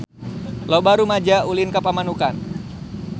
Loba rumaja ulin ka Pamanukan